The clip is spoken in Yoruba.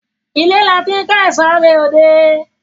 Ile lati n ko ẹso re ode